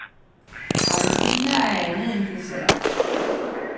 Appelsiner er andet end dessert.